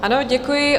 Ano, děkuji.